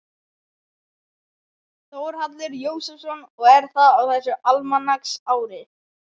Þórhallur Jósefsson: Og er það á þessu almanaksári?